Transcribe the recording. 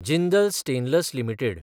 Jindal stainless limited